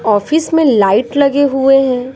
Office में light लगे हुए हैं।